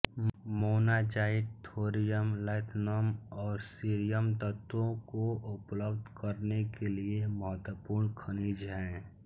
monazite thorium lanthanum और cerium तत्वों को उपलब्ध करने के लिये महत्वपूर्ण खनिज हैं